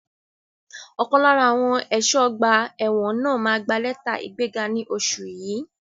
Ọ̀kan lára àwọn ẹ̀ṣọ́ ọgbà ẹ̀wọ̀n náà máa gbà lẹ́tà ìgbẹ́ga ní oṣù yìí.